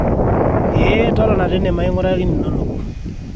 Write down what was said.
eeh totona teine mainguraki ninonok